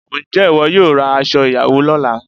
Ǹjẹ́ ìwọ yóò ra aṣo ìyàwó lọ́la?